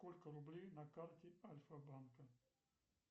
сколько рублей на карте альфа банка